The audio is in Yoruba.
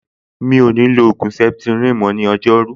Mi ò ní lo ògùn septrin mọ́ ní ọjọ́rú